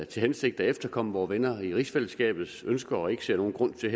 til hensigt at efterkomme vore venner i rigsfællesskabets ønsker og ikke ser nogen grund til